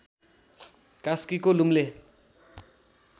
कास्कीको लुम्ले